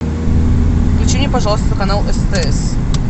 включи мне пожалуйста канал стс